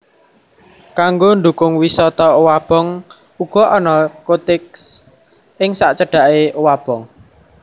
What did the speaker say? Kanggo ndukung wisata owabong uga ana cottage ing sacedhaké owabong